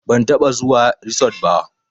Ban taɓa zuwa risot ba